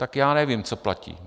Tak já nevím, co platí.